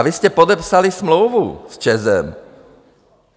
A vy jste podepsali smlouvu s ČEZ.